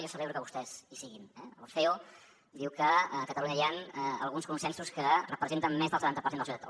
jo celebro que vostès hi siguin eh el ceo diu que a catalunya hi ha alguns consensos que representen més del setanta per cent de la societat